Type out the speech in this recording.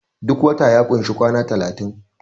duk wata ya kunshi kwana talatin